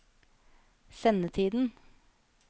sendetiden